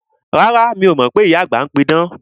Rárá, mi o mọ pé ìyá àgbà ń pí idán